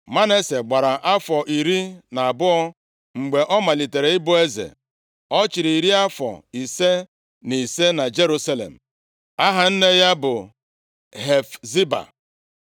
Manase gbara afọ iri na abụọ mgbe ọ malitere ịbụ eze. Ọ chịrị iri afọ ise na ise na Jerusalem. Aha nne ya bụ Hefziba.